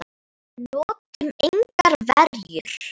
Við notuðum engar verjur.